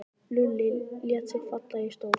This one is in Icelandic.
Lúlli lét sig falla í stól.